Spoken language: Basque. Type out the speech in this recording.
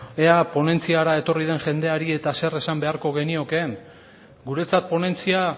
ea ponentziara etorri den jendeari eta zer esan beharko geniokeen guretzat ponentzia